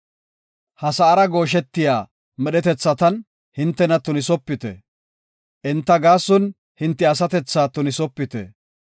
Ha sa7ara gooshetiya medhetethatan hintena tunisopite; enta gaason hinte asatethaa tunisopite.